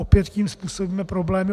Opět tím způsobíme problémy.